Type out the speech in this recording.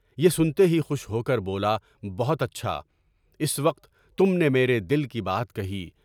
یہ سنتے ہی خوش ہو کر بولا، بہت اچھا! اس وقت تم نے میرے دل کی بات کہی۔